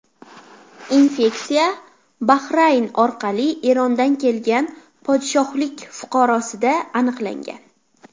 Infeksiya Bahrayn orqali Erondan kelgan podshohlik fuqarosida aniqlangan.